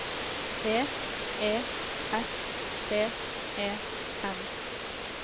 T E S T E N